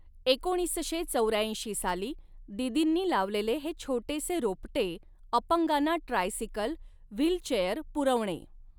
एकोणीसशे चौऱ्याऐंशी साली दीदींनी लावलेले हे छोटेसे रोपटे अपंगांना ट्राय सिकल, व्हीलचेअर पुरवणे.